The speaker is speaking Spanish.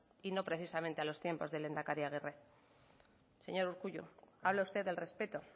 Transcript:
y no precisamente a los tiempos de lehendakari agirre señor urkullu habla usted del respeto